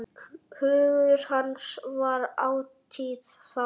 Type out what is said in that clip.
Hugur hans var ætíð þar.